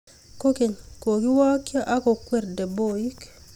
kokeny, kokiwokyo ak kokwer deboik